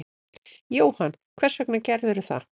Jóhann: Hvers vegna gerðirðu það?